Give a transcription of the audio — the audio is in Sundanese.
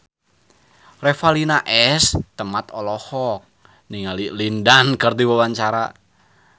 Revalina S. Temat olohok ningali Lin Dan keur diwawancara